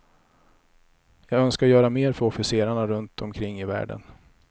Jag önskar göra mer för officerarna runt omkring i världen.